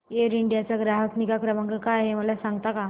air India चा ग्राहक निगा क्रमांक काय आहे मला सांगता का